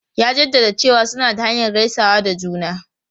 Ya jaddada cewa suna da hanyar gaisawa da juna.